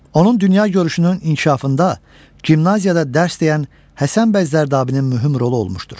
Onun dünyagörüşünün inkişafında gimnaziyada dərs deyən Həsən bəy Zərdabinin mühüm rolu olmuşdur.